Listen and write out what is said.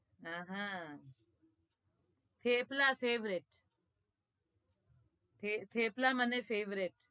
અ હ થેપલા favourite થેપલા મને favourite